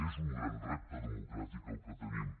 és un gran repte democràtic el que tenim